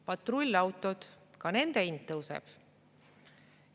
Patrullautod – ka nende hind tõuseb.